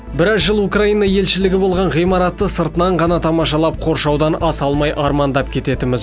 біраз жыл украина елшілігі болған ғимаратты сыртынан ғана тамашалап қоршаудан аса алмай армандап кететінбіз